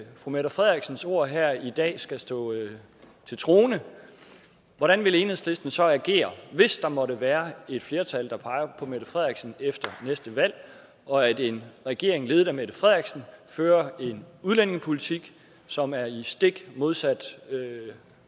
fru mette frederiksens ord her i dag skal stå til troende hvordan vil enhedslisten så agere hvis der måtte være et flertal der peger på mette frederiksen efter næste valg og en regering ledet af mette frederiksen fører en udlændingepolitik som er i stik modsat